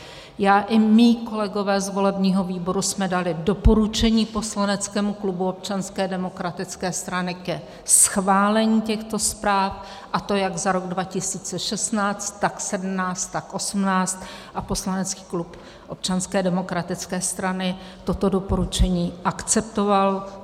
Já i mí kolegové z volebního výboru jsme dali doporučení poslaneckému klubu Občanské demokratické strany ke schválení těchto zpráv, a to jak za rok 2016, tak 2017, tak 2018 a poslanecký klub Občanské demokratické strany toto doporučení akceptoval.